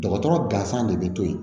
Dɔgɔtɔrɔ gansan de bɛ to yen